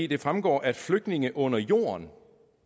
det fremgår at flygtninge under jorden